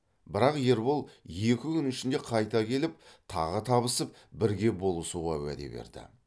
бірақ ербол екі күн ішінде қайта келіп тағы табысып бірге болысуға уәде берді